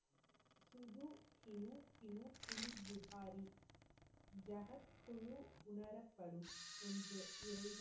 திஹாரி ஜஹத் குழு உணரப்படும் ஒன்று